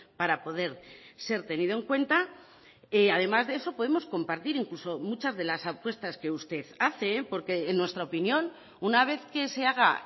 para poder ser tenido en cuenta además de eso podemos compartir incluso muchas de las apuestas que usted hace porque en nuestra opinión una vez que se haga